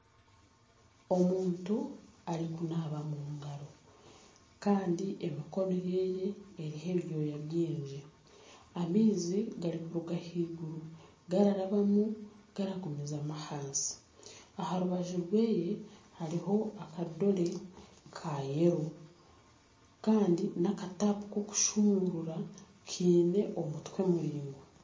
Omuntu arikunaaba omu ngaro kandi emikono ye eriho ebyoya bingi. Amaizi garikuruga ahaiguru gararabamu garikugumizamu ahansi. Aha rubaju rwe hariho akadore ka yero kandi n'akatapu kokushumurura kiine omutwe muraingwa.